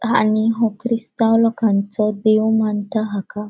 आणि वो ख्रिस्ताव लोकान्सो देव मानता हाका.